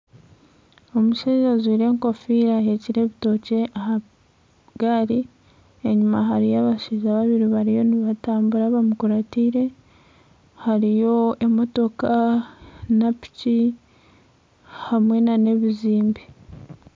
Omushaija ajwire enkofira ahekire ebitookye ah'agari enyuma hariyo abashaija babiri bariyo nibatambura bamukuratire hariyo emotoka na piki hamwe n'ebizimbe.